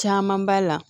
Caman b'a la